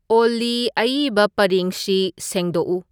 ꯑꯣꯜꯂꯤ ꯑꯏꯕ ꯄꯔꯦꯡꯁꯤ ꯁꯦꯡꯗꯣꯛꯎ